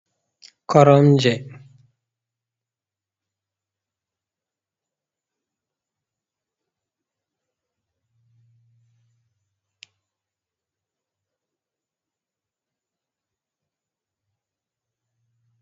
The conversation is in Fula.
Koromje.